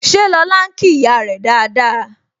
Ṣé lọ́la ń kí ìyá rẹ dáadáa?